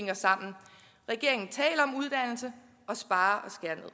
hænger sammen regeringen taler om uddannelse men sparer